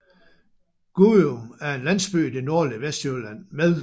Gudum er en landsby i det nordlige Vestjylland med